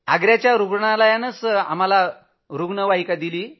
आग्रा रूग्णालयानंच आम्हाला रूग्णवाहिका दिली